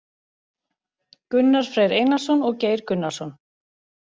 Gunnar Freyr Einarsson og Geir Gunnarsson.